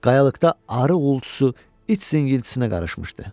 Qayalıqda arı uğultusu, iç singiltisinə qarışmışdı.